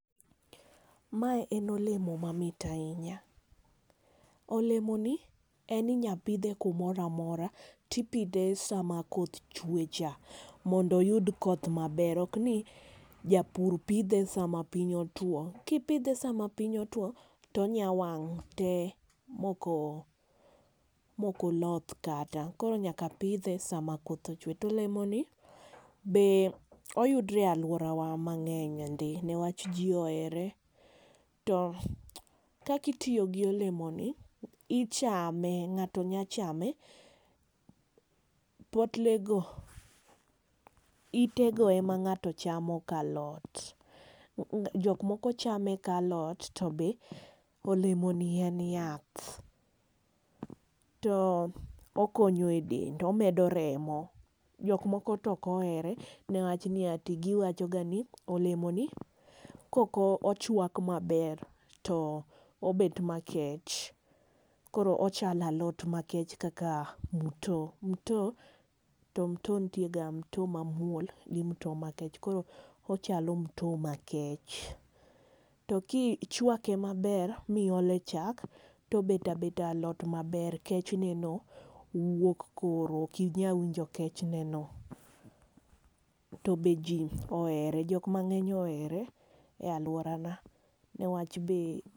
Mae en olemo mamit ahinya. Olemo ni en inyapidhe kuomoro amora, to ipidhe sama koth chwe cha. Mondo oyud koth maber. Ok ni japur pidhe sama piny otwo. Kipidhe sama piny otwo to onya wang' te moko, mokoloth kata. Koro nyaka pidhe sama koth ochwe. To olemoni be oyudre e alworawa mang'eny ndi, newach ji ohere. To kaka itiyo gi olemo ni, ichame, ng'ato nya chame. Poklogo, ite go ema ng'ato chamo ka alot. jok moko chame ka alot, to be olemo ni en yath. To okonyo e dend. Omedo remo. Jok moko to ok ohere, newach ni ati giwachoga ni, olemo ni kok ochwak maber to obet makech. Koro ochalo alot makech kata mto. Mto, to mto nitie ga mto mamuol gi mto makech. Koro ochalo mto makech. To kichwake maber, miole chal to obet abeta alot maber, kech neno wuok koro. Ok inyal winjo kech ne no. To be ji ohere. Jok mang'eny ohere e alworana. Newach be.